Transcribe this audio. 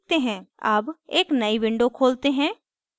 अब एक नयी window खोलते हैं